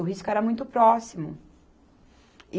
O risco era muito próximo.